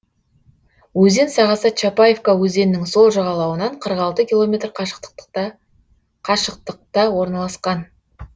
өзен сағасы чапаевка өзенінің сол жағалауынан қырық алты километр қашықтықта орналасқан